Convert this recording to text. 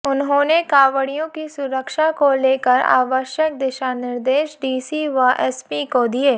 उन्होंने कांवड़ियों की सुरक्षा को लेकर आवश्यक दिशा निर्देश डीसी व एसपी को दिए